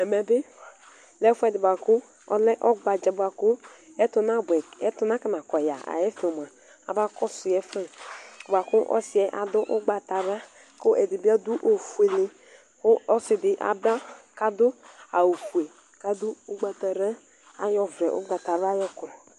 Ɛmɛbi ɔlɛ ɛfʋɛdi bʋakʋ ɔgbadza bʋakʋ ɛtʋ nakɔnakɔ yɛa axa ɛfɛ abakɔsʋ yɛ bʋakʋ ɔsiyɛ adʋ ʋgbatawla, ɛdibi adʋ ofuele, kʋ ɔsidi aba kʋ adʋ awʋfue kʋ adʋ ʋgbatara ayɔ ɔvlɛ ʋgbatawla yɔkɔ